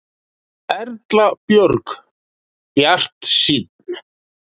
Erla Björg: Bjartsýnn?